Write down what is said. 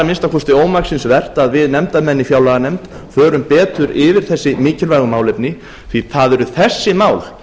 minnsta kosti ómaksins vert að við nefndarmenn í fjárlaganefnd förum betur yfir þessi mikilvægu málefni því það eru þessi mál